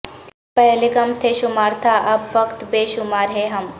پہلے کم تھے شمار تھااب فقط بے شمار ہیں ہم